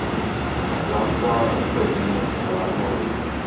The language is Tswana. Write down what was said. jwa kwa godimo jwa moroto